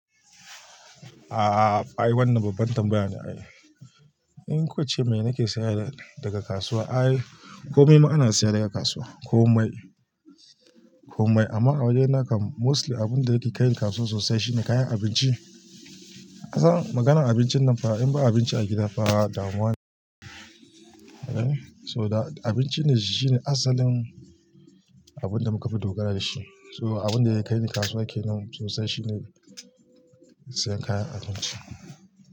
Aaa, ai wannan babban tambaya ne ai. In ko ce me nake sayar daga kasuwa? Ai komai ma ana sayar dai a kasuwa, komai, komai. Amma a wajena kam mostly abinda yake kai ni kasuwa sosai shine kayan abinci. Ka san maganar abincin nan fa in ba abinci a gida fa damuwa ne. To da abinci ne shine asalin abun da muka fi dogara da shi. To abinda yake kai ni kasuwa kenan sosai shine sayan kayan abinci.